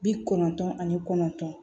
Bi kɔnɔntɔn ani kɔnɔntɔn